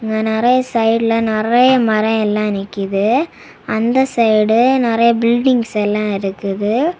அ நெறய சைடுல நெறய மரோ எல்லா நிக்குது. அந்த சைடு நெறய பில்டங்ஸ் எல்லா இருக்குது.